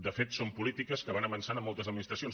de fet són polítiques que van avançant en moltes administracions